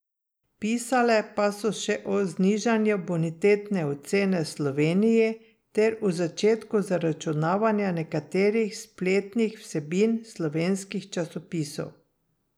Pisale pa so še o znižanju bonitetne ocene Sloveniji ter o začetku zaračunavanja nekaterih spletnih vsebin slovenskih časopisov.